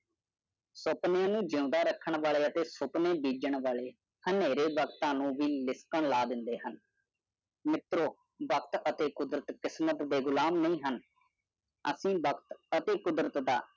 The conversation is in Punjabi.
ਸਪ੍ਰਿਯਾ ਨ ਜਿਓਂਦਾ ਰਾਖਨ ਵਾਲਿਆ ਸਪਨੀ ਡੰਜਵ ਵਾਲਿਆ ਹਮਰੀ ਟਾਈਮ ਐਨਵੀ ਟੂ ਪਲੈਨ ਲਾ ਡੰਡੇ ਵਨ ਦੋਸਤੋ, ਸਮਾਂ ਕੁਦਰਤ ਦੀ ਕਿਸਮਤ ਦਾ ਗੁਲਾਮ ਨਹੀਂ ਹੈ ਦੇ ਵਰਗ ਦੇ ਕੰਮਾਂ ਦੌਰਾਨ ਕੰਮ ਕਰਦਾ ਹੈ